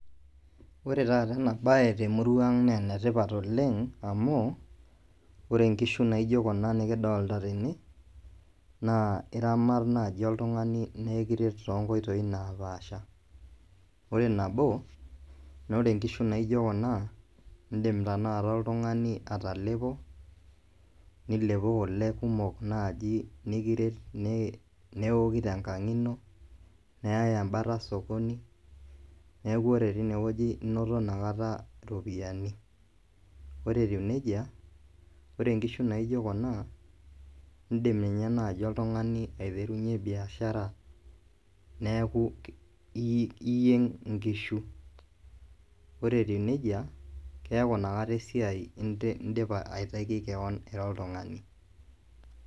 Ore taata ena baye temurua aang naaa enetipat oleng amu ore inkishu nikidolita tene naa iramat naaji oltung'ani naa ekiret toonkoitoi naapasha ore nabo naa ore inkishu naijio kuna indiim naaji oltung'ani atalepo niliepu kule kumok naaji nikiret neeoki tenkang neyai embata sokoni neeku ore tenewueji inoto iropiyiani ore etiu nejia ore inkishu naijio kuna indiim ninye naaji oltung'ani aiterunyie biashara neeku iyieng inkishu ore etiu nejia keeku inakata esiai indipa aitaki kewon ira oltung'ani.